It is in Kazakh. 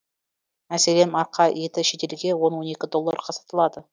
мәселен марқа еті шетелге он он екі долларға сатылады